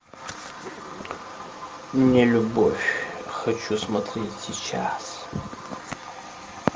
нелюбовь хочу смотреть сейчас